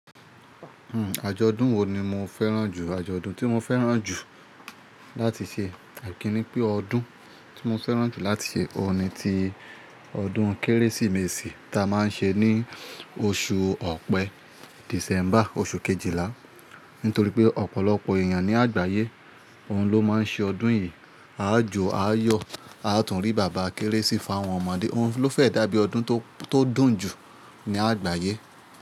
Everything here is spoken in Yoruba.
Hmm àjọ̀dún wo ni mo fẹ́ràn jù? Àjọ̀dún tí mo fẹ́ràn jù láti ṣe, àìkí ni pé ọdún tí mo fẹ́ràn jù láti ṣe, òun ni ti ọdún Kérésìmesì tí a máa ń ṣe ní oṣù Ọ̀pẹ, December, oṣù Kejìlá. Nítorí pé ọ̀pọ̀lọpọ̀ èèyàn ní àgbáyé, òun ló máa ń ṣe ọdún yìí. A jo, a yọ̀, a tún rí bàbá Kérésì fá àwọn ọmọdé, òun ló fẹ́ dàbí ọdún tó, tó dùn jù ní àgbáyé.